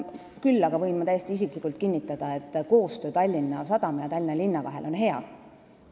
Küll aga võin täiesti isiklikult kinnitada, et koostöö Tallinna Sadama ja Tallinna linna vahel on hea.